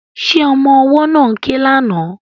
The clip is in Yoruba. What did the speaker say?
Ṣé ọmọ ọwọ́ náà ń ké lánàá?